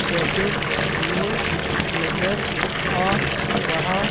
jacket में नजर आ रहा--